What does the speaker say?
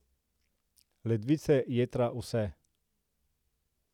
Ledvice, jetra, vse ...